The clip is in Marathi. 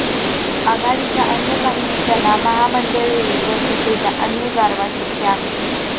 आघाडीच्या अन्य काही नेत्यांना महामंडळेही व सत्तेचा अन्य गारवा शक्य आहे